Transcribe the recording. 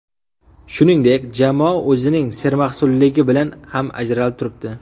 Shuningdek, jamoa o‘zining sermahsulligi bilan ham ajralib turibdi.